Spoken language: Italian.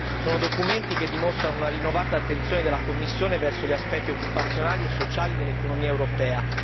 Sono documenti che dimostrano una rinnovata attenzione della Commissione verso gli aspetti occupazionali e sociali dell'economia europea.